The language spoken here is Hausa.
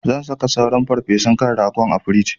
Zan saka sauran farfesun kan rago a frij.